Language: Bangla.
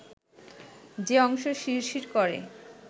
যে অংশ শিরশির করে